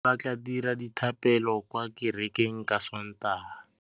Bommê ba tla dira dithapêlô kwa kerekeng ka Sontaga.